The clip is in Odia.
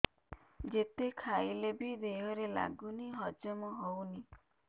ଯେତେ ଖାଇଲେ ବି ଦେହରେ ଲାଗୁନି ହଜମ ହଉନି